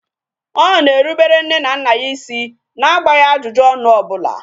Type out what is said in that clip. Ọ na-erubere nne na nna ya isi na agbaghị ajụjụ ọnụ ọbula